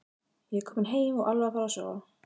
Ég er kominn heim og alveg að fara að sofa.